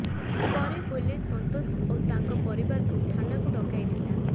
ପରେ ପୁଲିସ ସନ୍ତୋଷ ଓ ତାଙ୍କ ପରିବାରକୁ ଥାନାକୁ ଡକାଇଥିଲା